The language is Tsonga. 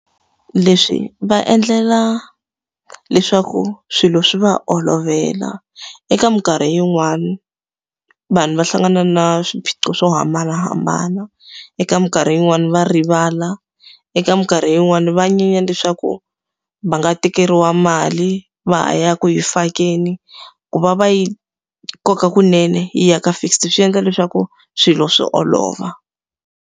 Leswi va endlela leswaku swilo swi va olovela. Eka minkarhi yin'wani vanhu va hlangana na swiphiqo swo hambanahambana. Eka minkarhi yin'wani va rivala, eka minkarhi yin'wani va nyenya leswaku va nga tekeriwa mali va ha ya ku yi fakeni. Ku va va yi koka kunene yi ya ka fixed swi endla leswaku swilo swi olova.